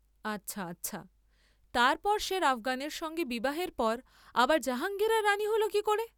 আচ্ছা, আচ্ছা, তার পর সের আফগানের সঙ্গে বিবাহের পর আবার জাহাঙ্গীরের রাণী হল কি করে?